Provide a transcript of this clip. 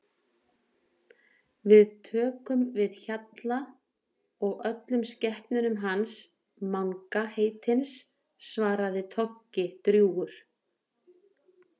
Við tökum við Hjalla og öllum skepnunum hans Manga heitins svaraði Toggi drjúgur.